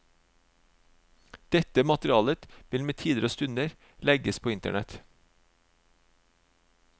Dette materialet vil med tider og stunder legges på internett.